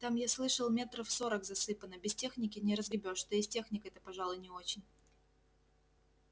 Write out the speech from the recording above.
там я слышал метров сорок засыпано без техники не разгребёшь да и с техникой-то пожалуй не очень